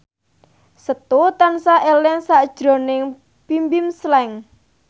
Setu tansah eling sakjroning Bimbim Slank